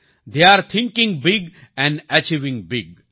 થેય are thinking big and achieving big